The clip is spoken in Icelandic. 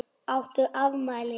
Áttu afmæli?